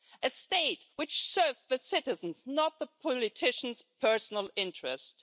a state which serves the citizens, not the politicians' personal interests.